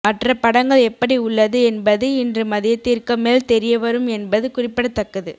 மற்ற படங்கள் எப்படி உள்ளது என்பது இன்று மதியத்திற்கு மேல் தெரியவரும் என்பது குறிப்பிடத்தக்கது